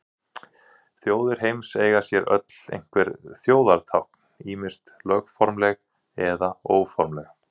Þjóðir heims eiga sér öll einhver þjóðartákn, ýmist lögformleg eða óformleg.